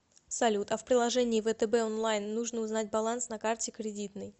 салют а в приложении втб онлайн нужно узнать баланс на карте кредитной